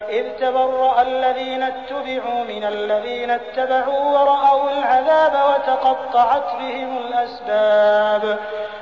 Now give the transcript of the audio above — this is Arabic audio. إِذْ تَبَرَّأَ الَّذِينَ اتُّبِعُوا مِنَ الَّذِينَ اتَّبَعُوا وَرَأَوُا الْعَذَابَ وَتَقَطَّعَتْ بِهِمُ الْأَسْبَابُ